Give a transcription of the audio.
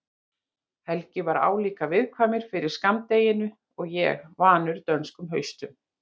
Helgi er álíka viðkvæmur fyrir skammdeginu og ég, vanur dönskum haustum.